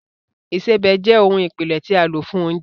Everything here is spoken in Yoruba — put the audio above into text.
Ìsebẹ̀ jẹ́ ohun ìpìlẹ̀ tí a lò fún oúnjẹ